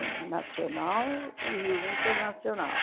O nacional e o internacional.